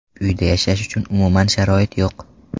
Uyda yashash uchun umuman sharoit yo‘q.